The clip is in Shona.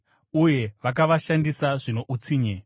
uye vakavashandisa zvino utsinye.